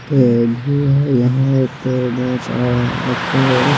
तेजू है यहा एक बहोत अ अच्छे--